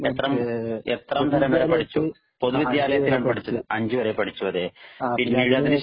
എത്രാം തരം വരെ പഠിച്ചു? പൊതു വിദ്യാലയത്തിൽ ആണോ പഠിച്ചത്? അഞ്ചു വരെ പഠിച്ചു അതേ. പിന്നീടു അതിനു ശേഷം